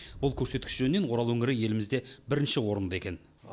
бұл көрсеткіш жөнінен орал өңірі елімізде бірінші орында екен